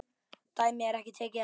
Dæmi er tekið af